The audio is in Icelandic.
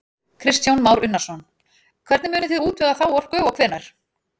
Kristján Már Unnarsson: Hvernig munið þið útvega þá orku og hvenær?